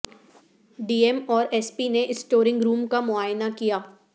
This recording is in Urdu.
ڈی ایم اور ایس پی نے اسٹرونگ روم کا معائنہ کیا